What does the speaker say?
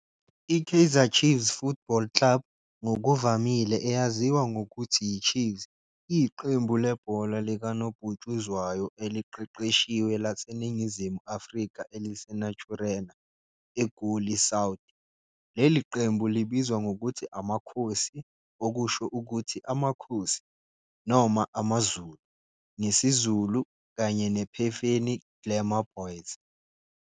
I-Kaizer Chiefs Football Club, ngokuvamile eyaziwa ngokuthi yi-Chiefs, iyiqembu lebhola likanobhutshuzwayo eliqeqeshiwe laseNingizimu Afrika eliseNaturena, eGoli South. Leli qembu libizwa ngokuthi "AmaKhosi", okusho ukuthi "Amakhosi" noma "AmaZulu" ngesiZulu, kanye ne-Phefeni Glamour Boys.